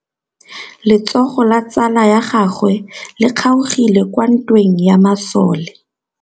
Letsôgô la tsala ya gagwe le kgaogile kwa ntweng ya masole.